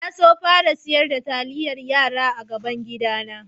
Na so fara sar da talliyan yara a gaban gida na.